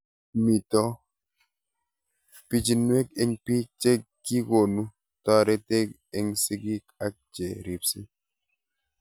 Mito pichinwek eng' pik ye kikonu taretet eng' sigik ak che ripsei